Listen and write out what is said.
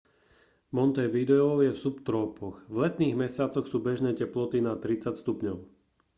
montevideo je v subtrópoch; v letných mesiacoch sú bežné teploty nad +30°c